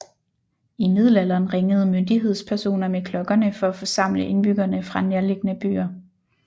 I middelalderen ringede myndighedspersoner med klokkerne for at forsamle indbyggerne fra nærliggende byer